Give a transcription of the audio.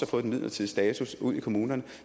fået den midlertidige status ud i kommunerne